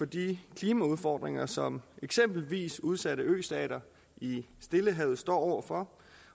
de klimaudfordringer som eksempelvis udsatte østater i stillehavet står over for